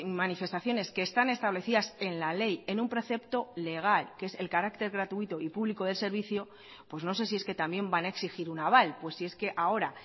manifestaciones que están establecidas en la ley en un precepto legal que es el carácter gratuito y público del servicio pues no sé si es que también van a exigir un aval pues si es que ahora